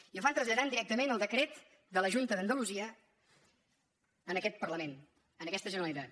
i ho fan traslladant directa·ment el decret de la junta d’andalusia a aquest par·lament a aquesta generalitat